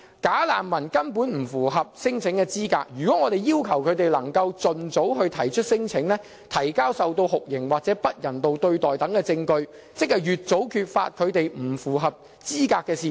"假難民"根本不符合聲請資格，如果我們要求他們盡早提出聲請，提交受到酷刑或不人道對待等證據，便可越早揭發他們不符合資格的事實。